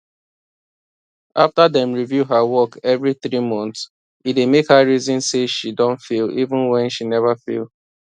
after dem review her work every 3 months e dey make her reason say she don fail even when when she never fail